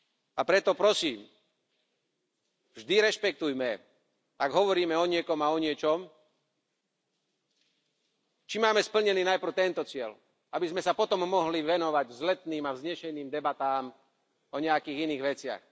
A preto prosím, vždy rešpektujem, ak hovoríme o niekom a o niečom, či máme splnený najprv tento cieľ, aby sme sa potom mohli venovať vzletným a vznešeným debatám o nejakých iných veciach.